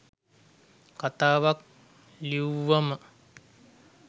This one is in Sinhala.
කතාවක් ලිව්වම